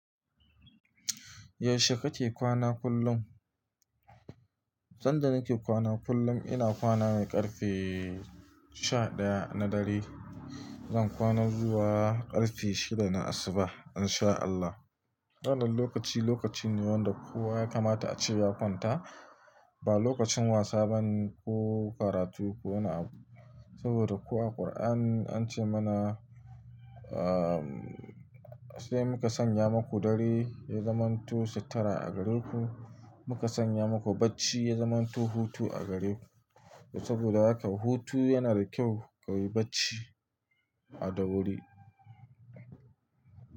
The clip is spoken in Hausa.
Yaushe kake kwana kullum? San da nake kwana kullum ina kwana ne ƙarfe sha ɗaya na dare. Zan kwana zuwa ƙarfe shida na asubah in sha Allah. Wannan lokaci lokaci ne wanda kowa ya kamata a ce ya kwanta. Ba lokacin wasa ba ne ko karatu ko wani abu. Saboda kuwa ƙur'an an ce mana, ahhh sai muka sanya maku dare ya zamanto sittura a gare ku. Muka sanya maku bacci ya zamanto hutu a gare ku. Saboda haka hutu yana da kyau ka yi bacci a da wuri.